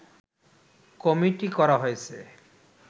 committee করা হয়েছে